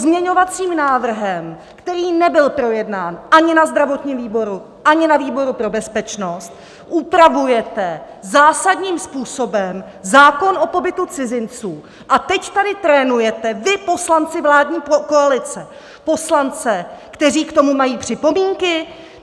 Pozměňovacím návrhem, který nebyl projednán ani na zdravotním výboru, ani na výboru pro bezpečnost, upravujete zásadním způsobem zákon o pobytu cizinců a teď tady trénujete, vy, poslanci vládní koalice, poslance, kteří k tomu mají připomínky?